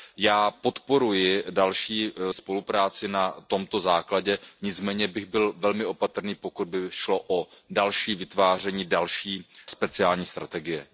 Já podporuji další spolupráci na tomto základě, nicméně bych byl velmi opatrný, pokud by šlo o další vytváření, další speciální strategie.